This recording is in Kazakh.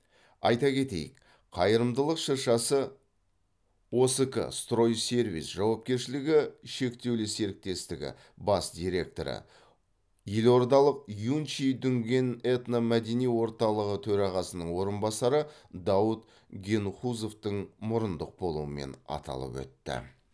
айта кетейік қайырымдылық шыршасы оск стройсервис жауапкершілігі шектеулі серіктестігі бас директоры елордалық юнчи дүнген этномәдени орталығы төрағасының орынбасары даут генхузовтың мұрындық болуымен аталып өтті